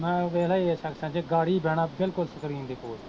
ਮੈਂ ਵੇਖਲਾ A section ਚ ਗਾੜੀ ਬਹਿਣਾ, ਬਿਲਕੁਲ ਸਕ੍ਰੀਨ ਦੇ ਕੋਲ